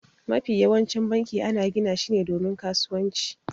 Mafi yawancin banki ana gina shi ne domin kasuwanci.